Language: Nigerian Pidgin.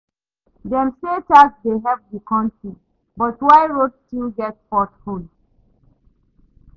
Dem say tax dey help the country, but why road still get pothole?